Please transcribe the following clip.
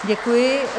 Děkuji.